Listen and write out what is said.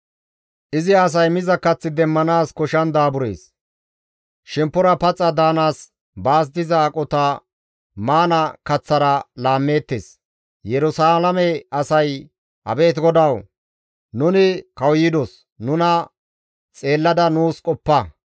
Izi asay miza kath demmanaas koshshan daaburees; shemppora paxa daanaas baas diza aqota maana kaththara laammeettes; Yerusalaame asay, «Abeet GODAWU! Nuni kawuyidos; nuna xeellada nuus qoppa.